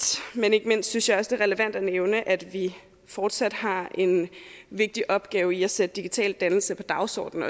men ikke mindst synes jeg også det er relevant at nævne at vi fortsat har en vigtig opgave i at sætte digital dannelse på dagsordenen